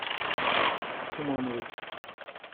тумановой